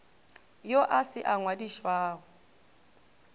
yo a se a ngwadišwago